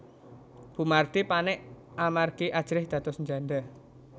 Bu Mardi panik amargi ajrih dados njanda